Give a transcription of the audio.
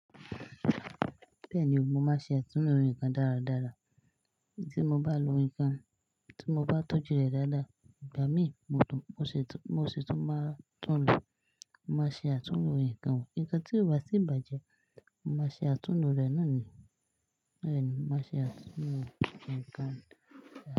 Bẹ́ẹ̀ ni o, mo máa ṣe àtúnlo nnkan dáradára. Tí mo bá lo nnkan, tí mo bá tọ́jú rẹ̀ dáadáa, ìgbà mí mo tún, mo sì tún máa tún lo. Mo máa ṣe àtúnlo nnkan. Nnkan tí ó bá ti ì bàjẹ́, mo má ṣe àtúnlo rẹ̀ náà ni. Bẹ́ẹ̀ ni, mo máa ṣe àtúnlo nnkan.